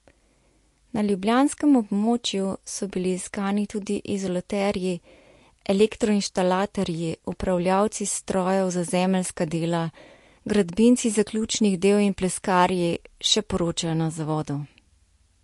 Na ljubljanskem območju so bili iskani tudi izolaterji, elektroinštalaterji, upravljavci strojev za zemeljska dela, gradbinci zaključnih del in pleskarji, še poročajo na zavodu.